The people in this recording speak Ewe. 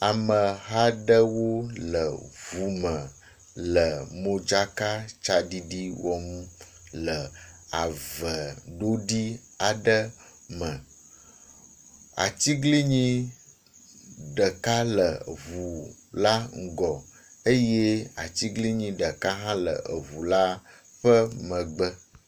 Ameha aɖewo le ŋu me le modzakatsaɖiɖi wɔm le ave ɖoɖi aɖe me. Atiglinyi ɖeka le eŋu la ŋgɔ eye atiglinyi ɖeka hã le eŋu la ƒe megbe.